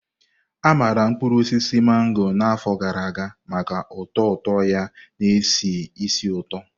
A maara mkpuru osisi mango na afọ gara aga maka ụtọ ụtọ ya na-esi ísì ụtọ.